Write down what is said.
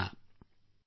ಅವರಿಗೆ ಗೌರವ ಸಲ್ಲಿಸೋಣ